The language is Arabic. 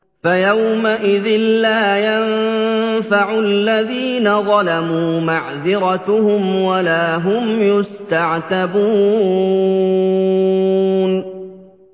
فَيَوْمَئِذٍ لَّا يَنفَعُ الَّذِينَ ظَلَمُوا مَعْذِرَتُهُمْ وَلَا هُمْ يُسْتَعْتَبُونَ